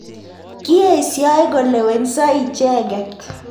Kiesio kolewenso icheket